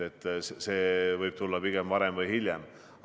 See võib tulla pigem varem kui hiljem.